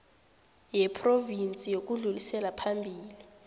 yephrovinsi yokudlulisela phambili